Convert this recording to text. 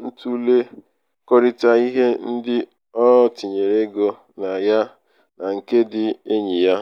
n'ịtụlekọrịta ihe ndị o tinyere ego na ya na nke ndị enyi ya.